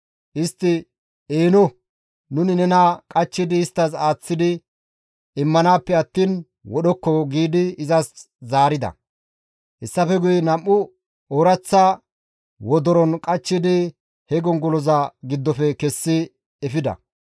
Istti, «Eeno! Nuni nena qachchidi isttas aaththi immanaappe attiin wodhokko» giidi izas zaarida. Hessafe guye nam7u ooraththa wodoron qachchidi he gongoloza giddofe iza kessi efida.